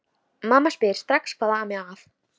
Mamma spyr strax hvað ami að.